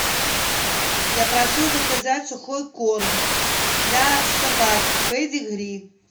я прошу заказать сухой корм для собаки педигри